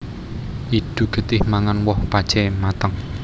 Idu getih Mangan woh pacé mateng